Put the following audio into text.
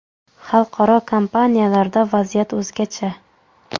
Xalqaro kompaniyalarda vaziyat o‘zgacha.